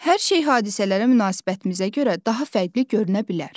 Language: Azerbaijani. Hər şey hadisələrə münasibətimizə görə daha fərqli görünə bilər.